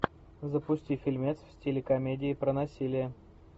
запусти фильмец в стиле комедия про насилие